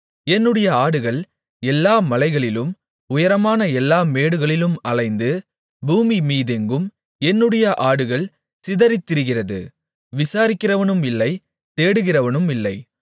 என்னுடைய ஆடுகள் எல்லா மலைகளிலும் உயரமான எல்லா மேடுகளிலும் அலைந்து பூமியின்மீதெங்கும் என்னுடைய ஆடுகள் சிதறித் திரிகிறது விசாரிக்கிறவனுமில்லை தேடுகிறவனுமில்லை